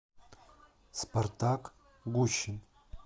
спартак гущин